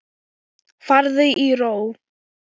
Farðu í ró.